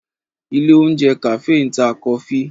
Ilé ìjẹun kàfé ń ta kọfí